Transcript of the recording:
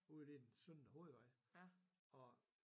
Ude ved den søndre hovedvej og